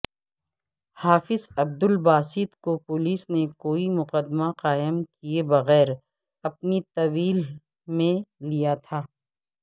حافظ عبدالباسط کو پولیس نے کوئی مقدمہ قائم کیئے بغیر اپنی تحویل میں لیا تھا